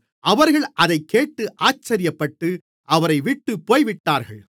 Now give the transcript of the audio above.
அவர்கள் அதைக்கேட்டு ஆச்சரியப்பட்டு அவரைவிட்டுப் போய்விட்டார்கள்